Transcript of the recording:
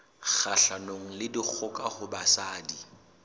kgahlanong le dikgoka ho basadi